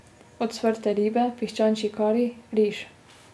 Ocvrte ribe, piščančji kari, riž.